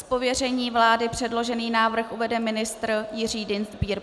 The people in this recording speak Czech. Z pověření vlády předložený návrh uvede ministr Jiří Dienstbier.